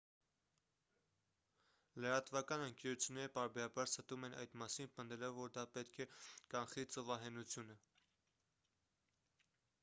լրատվական ընկերությունները պարբերաբար ստում են այդ մասին պնդելով որ դա պետք է կանխի ծովահենությունը